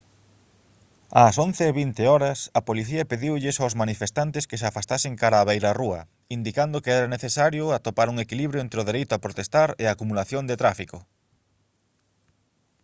ás 11:20 h a policía pediulles aos manifestantes que se afastasen cara á beirarrúa indicando que era necesario atopar un equilibrio entre o dereito a protestar e a acumulación de tráfico